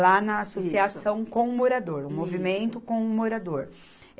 na associação com o morador, o movimento com o morador.